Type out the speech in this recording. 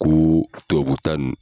Ko tubabuta nin.